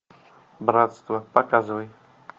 братство показывай